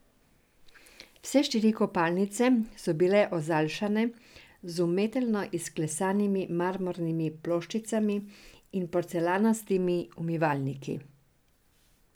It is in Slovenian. Vse štiri kopalnice so bile ozaljšane z umetelno izklesanimi marmornimi ploščicami in porcelanastimi umivalniki.